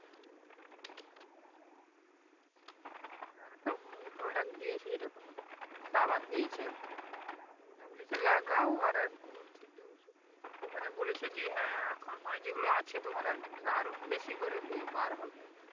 তো product দিয়ে ছিল সাবান দিয়েছে একটা ওটা বলেছে লাগাও আর দু তিনটে ওষুধ দিয়েছে মানে বলছে যে হ্যাঁ এখন নই যেগুলো আছে তোমার আরকি আরো বেশি করে বাবার হবে